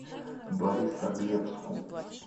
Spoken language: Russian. борисоглебску